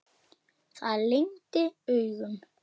Það lygndi augum.